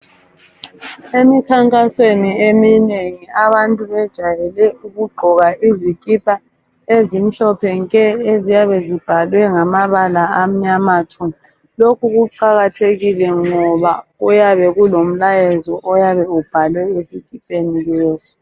Emikhankasweni eminengi abantu bajayele ukugqoka izikipa ezimhlophe nke eziyabe zibhalwe ngamabala amnyama tshu, lokhu kuqakathekile ngoba kuyabe kulomlayezo oyabe ubhalwe esikipeni leso.